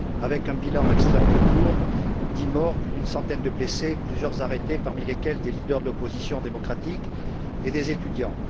avec un bilan extrêmement lourd 10morts, plus d'une centaine de blessés et plusieurs personnes arrêtées, parmi lesquelles des leaders de l'opposition démocratique et des étudiants.